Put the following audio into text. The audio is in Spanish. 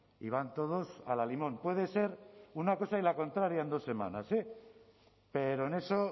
y van todos al alimón puede ser una cosa y la contraria en dos semanas eh pero en eso